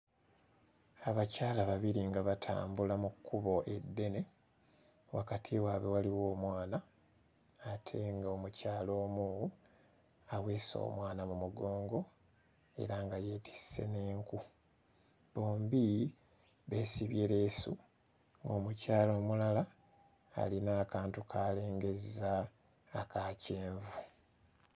Abakyala babiri nga batambula mu kkubo eddene, wakati waabwe waliwo omwana ate ng'omukyala omu aweese omwana mu mugongo era nga yeetisse n'enku. Bombi beesibye leesu. Omukyala omulala alina akantu k'alengezza aka kyenvu.